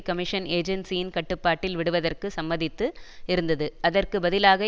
commission ஏஜென்சியின் கட்டுப்பாட்டில் விடுவதற்கு சம்மதித்து இருந்தது அதற்கு பதிலாக